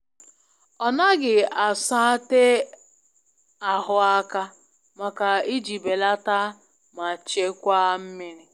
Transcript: Ọ naghi a sa te ahu aka, maka i ji belata ma chekwa mmiri